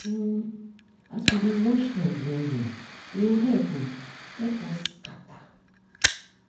mm as we dey wash hand well well e ho help ho help us scatter.